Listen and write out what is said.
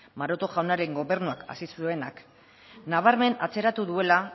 maroto jaunaren gobernuak hasi zuenak nabarmen atzeratu duela